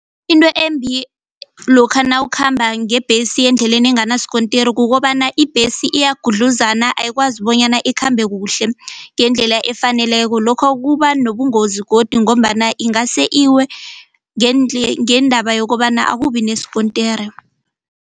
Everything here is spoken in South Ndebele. Into embi lokha nawukhamba ngebhesi endleleni enganasikontiri kukobana ibhesi iyagudluzana ayikwazi bonyana ikhambe kuhle ngendlela efaneleko lokho kuba nobungozi godi ngombana ingase iwe ngendaba yokobana akubi nesikontiri.